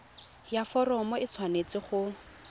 ya foromo e tshwanetse go